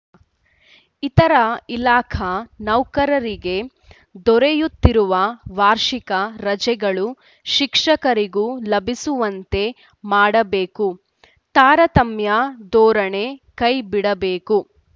ಇತರ ಇಲಾಖಾ ನೌಕರರಿಗೆ ದೊರೆಯುತ್ತಿರುವ ವಾರ್ಷಿಕ ರಜೆಗಳು ಶಿಕ್ಷಕರಿಗೂ ಲಭಿಸುವಂತೆ ಮಾಡಬೇಕು ತಾರತಮ್ಯ ಧೋರಣೆ ಕೈ ಬಿಡಬೇಕು